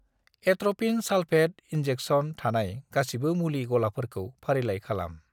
Atropine sulphate injection थानाय गासिबो मुलि गलाफोरखौ फारिलाइ खालाम।